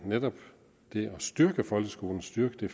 og netop styrke folkeskolen styrke